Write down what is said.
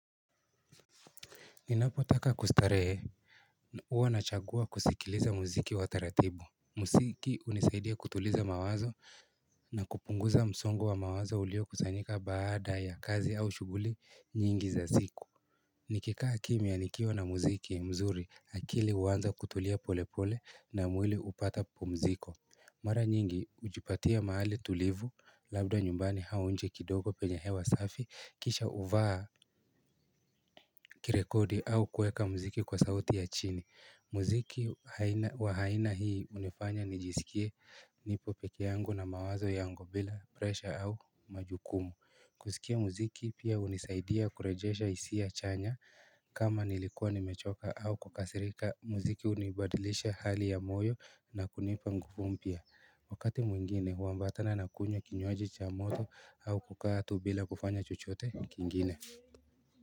Ninapotaka kustarehe, huwa nachagua kusikiliza muziki wa taratibu. Muziki hunisaidia kutuliza mawazo na kupunguza msongo wa mawazo uliyokusanyika baada ya kazi au shughuli nyingi za siku. Nikikaa kimya nikiwa na muziki mzuri akili huwanza kutulia pole pole na mwili hupata pumziko. Mara nyingi hujipatia mahali tulivu, labda nyumbani au nje kidogo penye hewa safi kisha huvaa kirekodi au kuweka muziki kwa sauti ya chini. Muziki wa haina hii hunifanya nijisikie nipo pekee yangu na mawazo yangu bila presha au majukumu kusikia muziki pia hunisaidia kurejesha hisia chanya kama nilikuwa nimechoka au kukasirika muziki hunibadilisha hali ya moyo na kunipa nguvu mpya Wakati mwingine huambatana na kunywa kinywaji cha moto au kukaa tu bila kufanya chochote kingine.